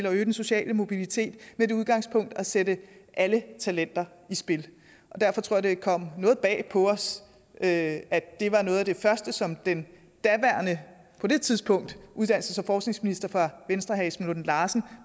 at øge den sociale mobilitet med det udgangspunkt at sætte alle talenter i spil og derfor tror jeg det kom noget bag på os at at det var noget af det første som den daværende uddannelses og forskningsminister fra venstre herre esben lunde larsen